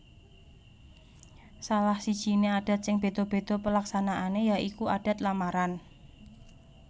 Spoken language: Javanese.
Salah sijiné adat sing bédha bédha paleksanané ya iku adat lamaran